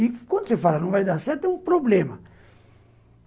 E quando você fala que não vai dar certo, é um problema.